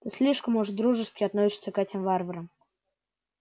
ты слишком уж дружески относишься к этим варварам